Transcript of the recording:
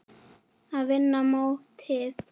Að vinna mótið?